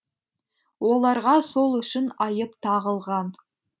оларға сол үшін айып тағылған